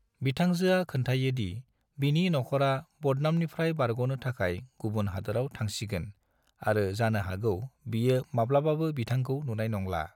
बिथांजोआ खोनथायो दि बिनि नखरा बदनामनिप्राय बारगनो थाखाय गुबुन हादोराव थांसिगोन आरो जानो हागौ बियो माब्लाबाबो बिथांखौ नुनाय नंला।